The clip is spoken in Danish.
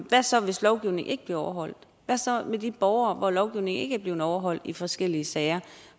hvad så hvis lovgivningen ikke bliver overholdt hvad så med de borgere hvor lovgivningen ikke er blevet overholdt i forskellige sager